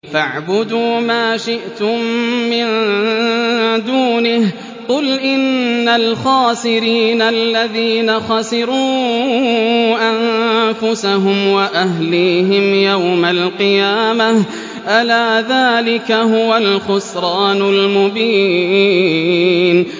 فَاعْبُدُوا مَا شِئْتُم مِّن دُونِهِ ۗ قُلْ إِنَّ الْخَاسِرِينَ الَّذِينَ خَسِرُوا أَنفُسَهُمْ وَأَهْلِيهِمْ يَوْمَ الْقِيَامَةِ ۗ أَلَا ذَٰلِكَ هُوَ الْخُسْرَانُ الْمُبِينُ